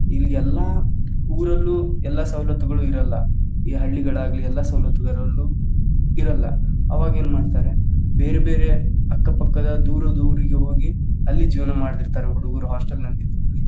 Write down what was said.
ಈ ಎಲ್ಲಾ ಊರಲ್ಲೂ ಎಲ್ಲಾ ಸವಲತ್ತುಗಳು ಇರಲ್ಲಾ ಈ ಹಳ್ಳಿಗಳಾಗ್ಲಿ ಎಲ್ಲಾ ಸವಲತ್ತುಗಳಲ್ಲು ಇರಲ್ಲಾ ಅವಾಗ ಏನ ಮಾಡ್ತಾರೆ ಬೇರ್ಬೇರೆ ಅಕ್ಕ ಪಕ್ಕದ ದೂರದ ಊರಿಗೆ ಹೋಗಿ ಅಲ್ಲಿ ಜೀವನಾ ಮಾಡ್ತಿರ್ತಾರೆ ಹುಡುಗುರು hostel ನಲ್ಲಿ ಇದ್ದು.